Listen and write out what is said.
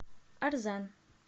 арзан